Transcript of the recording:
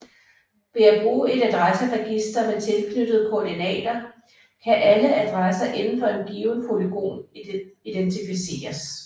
Ved at bruge et adresseregister med tilknyttede koordinater kan alle adresser inden for en given polygon identificeres